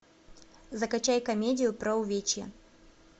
закачай комедию про увечья